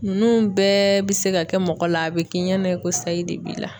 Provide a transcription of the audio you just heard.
Nunnu bɛɛ bɛ se ka kɛ mɔgɔ la a bɛ k'i ɲɛna i ko sayi de b'i la.